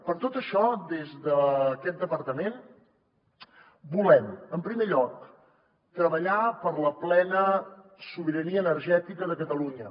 per tot això des d’aquest departament volem en primer lloc treballar per la plena sobirania energètica de catalunya